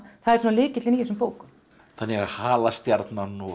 það er svona lykillinn í þessum bókum þannig að halastjarnan og